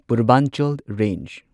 Purvanchal range